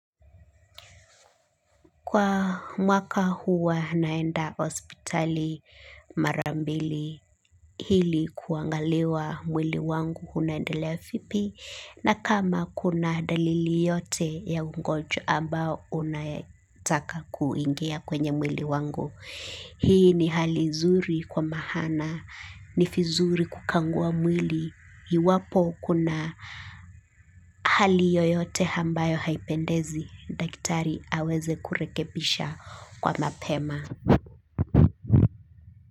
Kwa mwaka huwa naenda ospitali marambili hili kuangaliwa mwili wangu hunaendelea fipi na kama kuna dalili yote ya ungojwa ambao unayetaka kuingia kwenye mwili wangu. Hii ni hali zuri kwa mahana, nifizuri kukangua mwili, iwapo kuna hali yoyote hambayo haipendezi, dagitari aweze kurekebisha kwa mapema.